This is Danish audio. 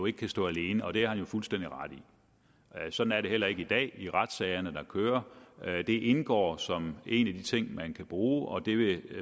ikke kan stå alene og det har han jo fuldstændig ret i sådan er det heller ikke i dag i retssagerne der kører det indgår som en af de ting man kan bruge og det ville